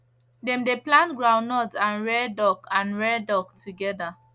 dem dey plant groundnut and rear duck and rear duck together